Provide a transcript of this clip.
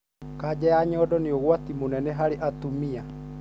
Kaja ya nyondo nĩ ũgwati munene harĩ atumia.